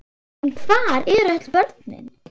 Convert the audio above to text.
En hvar eru öll börnin?